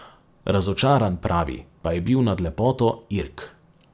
Razočaran, pravi, pa je bil nad lepoto Irk.